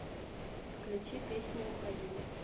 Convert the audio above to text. включи песню уходи